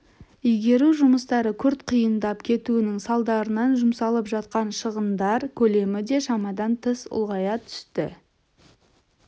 игеру жұмыстары күрт қиындап кетуінің салдарынан жұмсалып жатқан шығындар көлемі де шамадан тыс ұлғая түсті